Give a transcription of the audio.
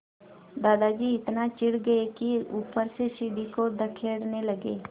दादाजी इतना चिढ़ गए कि ऊपर से सीढ़ी को धकेलने लगे